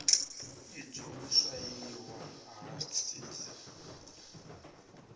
idzwo u swaiwa ha seed